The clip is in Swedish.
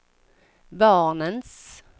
barnens